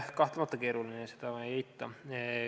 Kahtlemata keeruline, seda ma ei eita.